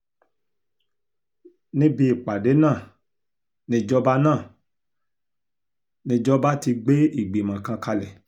níbi ìpàdé náà nìjọba náà nìjọba ti gbé ìgbìmọ̀ kan kalẹ̀